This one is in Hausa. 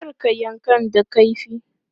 Kar ka yankan da kaifi!